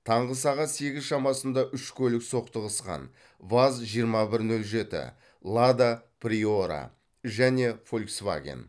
таңғы сағат сегіз шамасында үш көлік соқтығысқан ваз жиырма бір нөл жеті лада приора және фольцваген